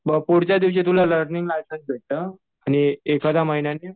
मग पुढच्या दिवशी तुला लर्निंग लायसन्स भेटतं. आणि एखाद्या महिन्याने